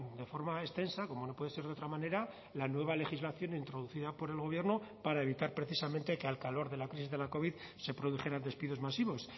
de forma extensa como no puede ser de otra manera la nueva legislación introducida por el gobierno para evitar precisamente que al calor de la crisis de la covid se produjeran despidos masivos